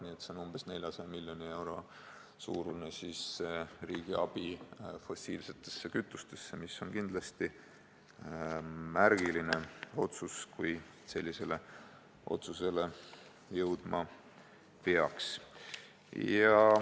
Nii et tegemist on umbes 400 miljoni euro suuruse riigiabiga fossiilsete kütuste valdkonda ja see on kindlasti märgiline otsus, kui sellisele otsusele peaks jõudma.